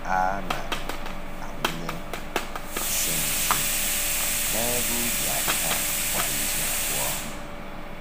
A na-awụnye nsị nsị n’ebe ubi ahịhịa kwa izu abụọ.